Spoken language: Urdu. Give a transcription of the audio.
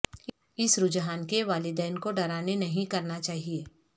اس رجحان کے والدین کو ڈرانے نہیں کرنا چاہئے